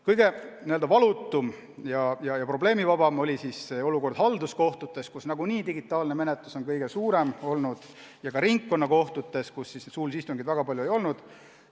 Kõige valutum ja probleemivabam oli olukord halduskohtutes, kus nagunii digitaalne menetlus on kõige suurema osakaaluga olnud, ja ka ringkonnakohtutes, kus suulisi istungeid väga palju ei olnud.